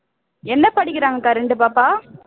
என்ன படிக்கிறாங்கக்கா ரெண்டு பாப்பா